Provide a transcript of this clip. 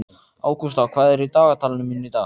Ágústa, hvað er í dagatalinu mínu í dag?